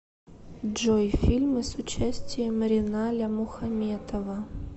джой фильмы с участием реналя мухаметова